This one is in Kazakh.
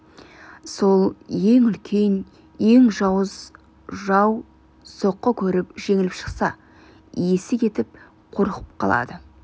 сол ең үлкен ең жауыз жау соққы көріп жеңіліп шықса есі кетіп қорқып қалады